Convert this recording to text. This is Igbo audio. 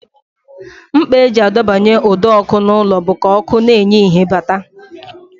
Mkpa e ji adọbanye ụdọọkụ n'ụlọ bụ ka ọkụ na-enye ìhè bata